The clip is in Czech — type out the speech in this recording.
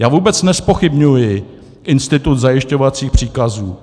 Já vůbec nezpochybňuji institut zajišťovacích příkazů.